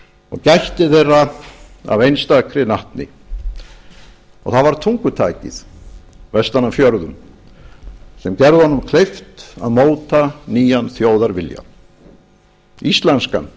og gætti þeirra af einstakri natni það var tungutakið vestan af fjörðum sem gerði honum kleift að móta nýjan þjóðarvilja íslenskan